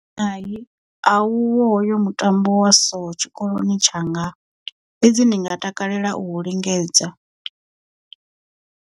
Hai a uho hoyo mutambo wa so tshikoloni tshanga fhedzi ndi nga takalela u u lingedza.